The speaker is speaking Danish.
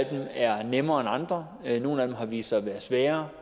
er nemmere end andre nogle af dem har vist sig at være svære